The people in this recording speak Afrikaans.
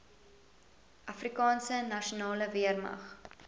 afrikaanse nasionale weermag